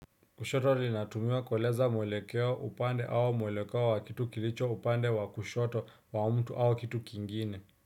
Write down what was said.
Kushoto linatumiwa kueleza mwelekeo upande au mwelekeo wa kitu kilicho upande wa kushoto wa mtu au kitu kingine.